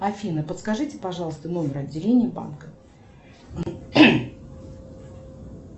афина подскажите пожалуйста номер отделения банка